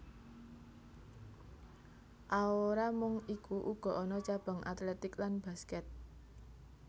Aora mung iku uga ana cabang atletik lan basket